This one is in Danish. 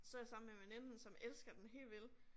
Så jeg sammen med en veninde som elsker den helt vildt